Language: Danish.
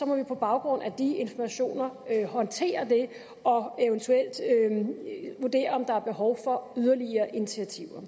må vi på baggrund af de informationer håndtere det og eventuelt vurdere om der er behov for yderligere initiativer